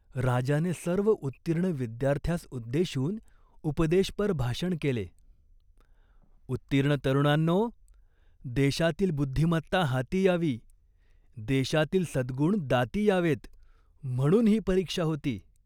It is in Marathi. राजाने सर्व उत्तीर्ण विद्यार्थ्यांस उद्देशून उपदेशपर भाषण केले. "उत्तीर्ण तरुणांनो, देशातील बुद्धिमत्ता हाती यावी, देशातील सद्गुण दाती यावेत म्हणून ही परीक्षा होती.